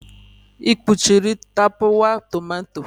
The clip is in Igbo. Ị kpuchiri tapawa tomato?